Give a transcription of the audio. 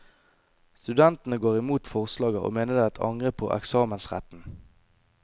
Studentene går imot forslaget, og mener det er et angrep på eksamensretten.